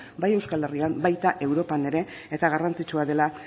bai euskal herrian baita europan ere eta garrantzitsua dela